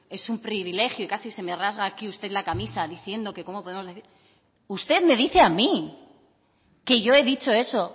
es un privilegio y casi se me rasga aquí usted la camisa diciendo que cómo podemos decir usted me dice a mí que yo he dicho eso